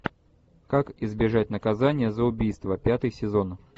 как избежать наказания за убийство пятый сезон